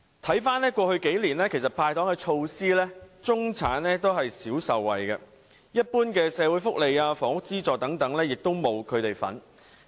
回顧過去幾年的"派糖"措施，中產少有受惠，一般的社會福利、房屋資助等都沒有他們的份兒。